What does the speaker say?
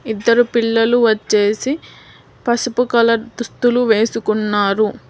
ఇద్దరు పిల్లలు వచ్చేసి పసుపు కలర్ దుస్తులు వేసుకున్నారు.